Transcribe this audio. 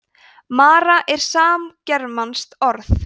mara er samgermanskt orð